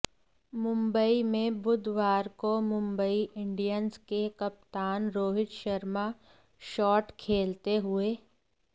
मुंबई में बुधवार को मुंबई इंडियंस के कप्तान रोहित शर्मा शॉट खेलते हुए